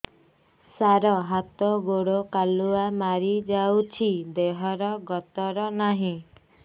ସାର ହାତ ଗୋଡ଼ କାଲୁଆ ମାରି ଯାଉଛି ଦେହର ଗତର ନାହିଁ